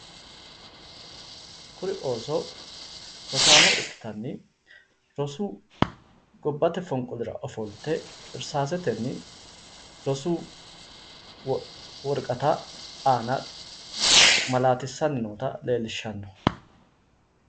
Kuri ooso rosaano ikkottanni gobbate fonqolirra irsase amade woraqatu aana malatensa ofoshishani nootta leellishano